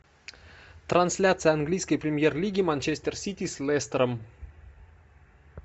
трансляция английской премьер лиги манчестер сити с лестером